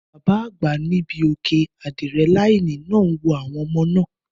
Bàbá àgbà ní ibí òkè ádírẹ́láínì náà ń wo àwọn ọmọ náà